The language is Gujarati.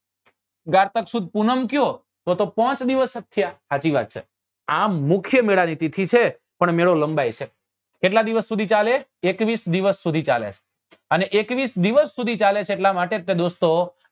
કારતક સુદ પૂનમ કયો તો તો પોંચ દિવસ થયા હાચી વાત છે આ મુખ્ય મેળા ની તિથી છે પણ મેળો લંબાય છે કેટલા દિવસ સુધી ચાલે એકવીસ દિવસ સુધી ચાલે અને એકવીસ દિવસ સુધી ચાલે છે એટલા માટે દોસ્તો